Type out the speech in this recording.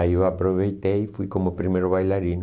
Aí eu aproveitei e fui como primeiro bailarino.